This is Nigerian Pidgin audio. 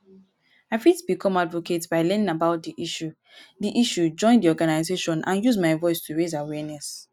i fit become advocate by learning about di issue di issue join di organization and use my voice to raise awareness.